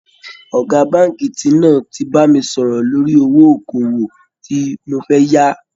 Ọ̀gá Báńkì ti náà ti bá mi sọ̀rọ̀ lórí owó okòwò tí mo fẹ́ yá